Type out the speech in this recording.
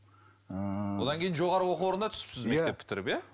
ыыы одан кейін жоғары оқу орнына түсіпсіз мектеп бітіріп иә